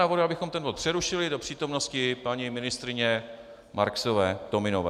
Navrhuji, abychom ten bod přerušili do přítomnosti paní ministryně Marksové-Tominové.